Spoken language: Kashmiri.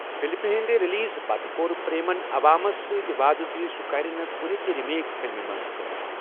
فلمہِ ہنٛد ریلیز پتہِ کوٚر پریمن عوامس سۭتۍ وعدٕ زِ سُہ کَرِ نہٕ کُنہِ تہِ ریمیک فلمہِ منٛز کٲم۔